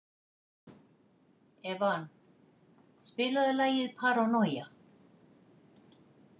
Evan, spilaðu lagið „Paranoia“.